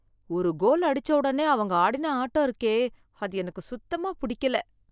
ஒரு கோல் அடிச்ச ஒடனே அவங்க ஆடின ஆட்டம் இருக்கே, அது எனக்கு சுத்தமாப் புடிக்கல